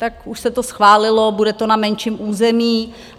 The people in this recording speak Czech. Tak už se to schválilo, bude to na menším území.